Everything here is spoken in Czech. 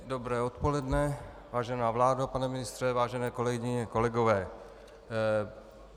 Dobré odpoledne, vážená vládo, pane ministře, vážené kolegyně, kolegové.